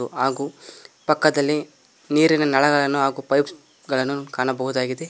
ಹಾಗು ಪಕ್ಕದಲ್ಲಿ ನೀರಿನ ನಳಗಳನ್ನು ಹಾಗು ಪೈಪ್ಸ್ಗ ಳನ್ನು ಕಾಣಬಹುದಾಗಿದೆ.